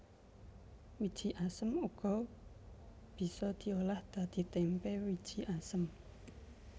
Wiji asem uga bisa diolah dadi témpé wiji asem